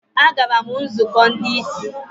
Agara m nzukọ ndị ìsì.